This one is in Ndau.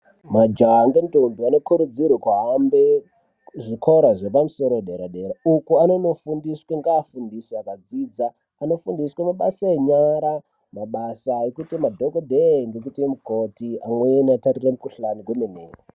Majaha ngendombi, anokurudzirwa kuhambe kuzvikora zvepamusoro, dera-dera, uko anonofundiswa ngeafundisi aka dzidza. Anofundiswa mabasa enyara, mabasa ekuita madhokodheya nekuita mukoti, amweni otarire mikhuhlana kwemene.